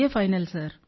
final sir